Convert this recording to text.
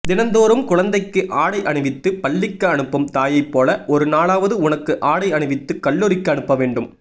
தினந்தோறும் குழந்தைக்கு ஆடை அணிவித்து பள்ளிக்கு அனுப்பும் தாயைப்போல ஒரு நாளாவது உனக்கு ஆடை அணிவித்து கல்லூரிக்கு அனுப்பவேண்டும்